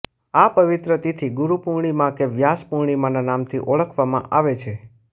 આ પવિત્ર તિથી ગુરુ પૂર્ણિમા કે વ્યાસ પૂર્ણિમાના નામથી ઓળખવામાં આવે છે